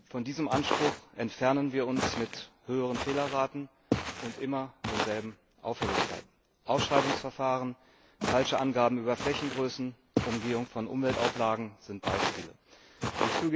Von diesem Anspruch entfernen wir uns mit höheren Fehlerraten und immer denselben Auffälligkeiten Ausschreibungsverfahren, falsche Angaben über Flächengrößen, Umgehung von Umweltauflagen sind Beispiele dafür.